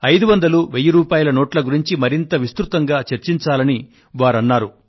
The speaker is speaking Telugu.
500 1000 రూపాయల నోట్ల గురించి మరింత విస్తృతంగా చర్చించాలని వారన్నారు